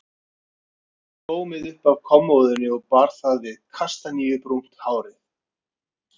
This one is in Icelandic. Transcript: Hún tók blómið upp af kommóðunni og bar það við kastaníubrúnt hárið.